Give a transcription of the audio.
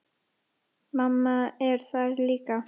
Mamma er þar líka.